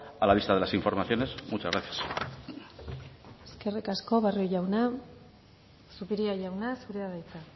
a la vista de las informaciones muchas gracias eskerrik asko barrio jauna zupiria jauna zurea da hitza